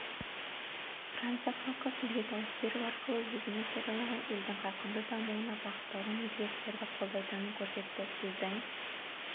франция халқы сізге дауыс беру арқылы өзіңіз жариялаған елдің қарқынды дамуына бағытталған өзгерістерді қолдайтынын көрсетті сіздің